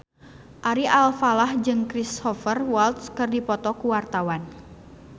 Ari Alfalah jeung Cristhoper Waltz keur dipoto ku wartawan